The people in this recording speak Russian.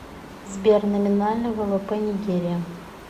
сбер номинальный ввп нигерия